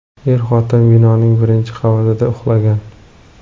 Er-xotin binoning birinchi qavatida uxlagan.